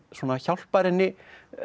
að hjálpar henni